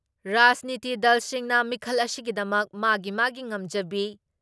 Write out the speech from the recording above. ꯔꯥꯖꯅꯤꯇꯤ ꯗꯜꯁꯤꯡꯅ ꯃꯤꯈꯜ ꯑꯁꯤꯒꯤꯗꯃꯛ ꯃꯥꯒꯤ ꯃꯥꯒꯤ ꯉꯝꯖꯕꯤ